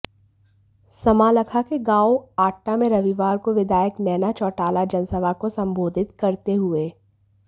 समालखा के गांव आट्टा में रविवार को विधायक नैना चौटाला जनसभा को संबोधित करते हुए